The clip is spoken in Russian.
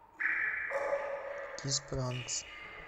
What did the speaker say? кис бранкс